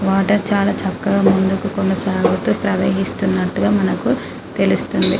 Water చాలా చక్కగా ముందుకు కొనసాగుతూ ప్రవహిస్తునట్టుగా మనకు తెలుస్తుంది.